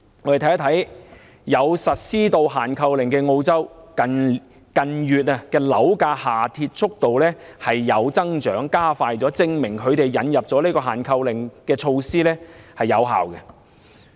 我們看看有實施限購令的澳洲，近月樓價下跌速度加快，證明引入限購令措施奏效。